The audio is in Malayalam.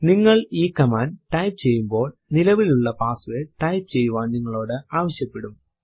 നിങ്ങൾ ഈ കമാൻഡ് ടൈപ്പ് ചെയ്യുമ്പോൾ നിലവിലുള്ള പാസ്സ്വേർഡ് ടൈപ്പ് ചെയ്യുവാൻ നിങ്ങളോട് ആവശ്യപെടും